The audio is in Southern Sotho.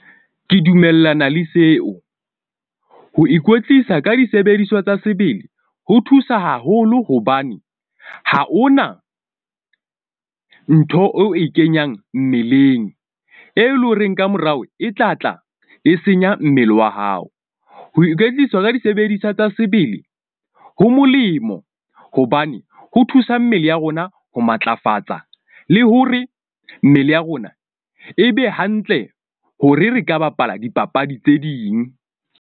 Ke dumellana le seo. Ho ikwetlisa ka disebediswa tsa sebele ho thusa haholo. Hobane ha hona ntho o e kenyang mmeleng, e leng horeng ka morao, e tla tla e senya mmele wa hao. Ho ikwetlisa ka disebediswa tsa sebele ho molemo. Hobane ho thusa mmele ya rona ho matlafatsa le hore mmele ya rona e be hantle hore re ka bapala dipapadi tse ding.